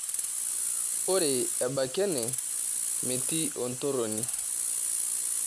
Ore ebaiki ene metii entoroni.